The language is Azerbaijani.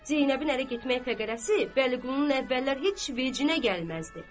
Zeynəbin ərə getmək təqərrəsi Vəliqulunun əvvəllər heç vecinə gəlməzdi.